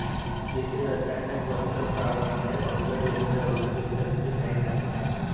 येथे रसायने वस्त्रप्रावरणे अवजड यंत्रे औषधे इत्यादींचे काही कारखाने आहेत